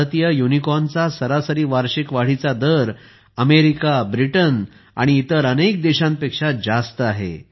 भारतीय युनिकॉर्नचा सरासरी वार्षिक वाढीचा दर अमेरिका ब्रिटन आणि इतर अनेक देशांपेक्षा जास्त आहे